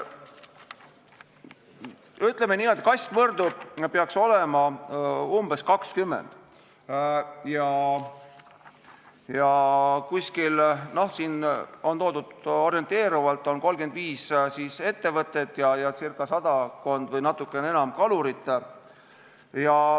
Ütleme niimoodi, et kastmõrdu peaks olema umbes 20 ja on, siin on toodud orienteerivalt, 35 ettevõtet ja sadakond või natuke enam kalurit.